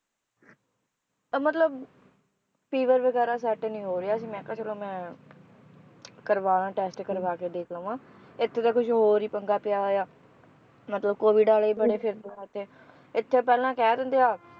ਅਹ ਮਤਲਬ fever ਵਗੈਰਾ set ਨੀ ਹੋ ਰਿਹਾ ਸੀ ਮੈ ਕਿਹਾ ਚਲੋ ਮੈ ਕਰਵਾ ਦੇਵਾਂ test ਕਰਵਾ ਕੇ ਦੇਖ ਲਵਾਂ ਇਥੇ ਤਾਂ ਕੁਛ ਹੋਰ ਈ ਪੰਗਾ ਪਿਆ ਹੋਇਆ, ਮਤਲਬ COVID ਵਾਲੇ ਬੜੇ ਫਿਰਦੇ ਆ ਇਥੇ ਇਥੇ ਪਹਿਲਾਂ ਕਹਿ ਦਿੰਦੇ ਆ